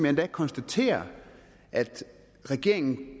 endda konstaterer at regeringen